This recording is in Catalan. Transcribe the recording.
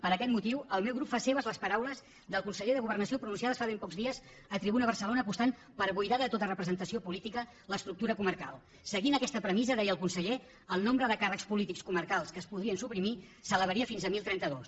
per aquest motiu el meu grup fa seves les paraules del conseller de governació pronunciades fa ben pocs dies a tribuna barcelona apostant per buidar de tota representació política l’estructura comarcal seguint aquesta premissa deia el conseller el nombre de càrrecs polítics comarcals que es podrien suprimir s’elevaria fins a deu trenta dos